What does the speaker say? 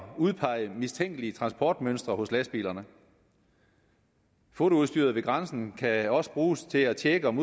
udpege mistænkelige transportmønstre ved lastbilerne fotoudstyr ved grænsen kan også bruges til at tjekke om